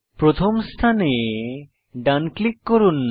প্রথম স্থানে ডান ক্লিক করুন